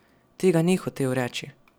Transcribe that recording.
Tega ni hotel reči.